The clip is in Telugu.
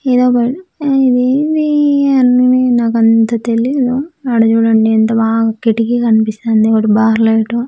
ఇదేంది అన్నిని నాకు అంత తెలీదు ఆడ చూడండి ఎంత బా కిటికి కనిపిస్తానంది ఒక బార్ లైట్ .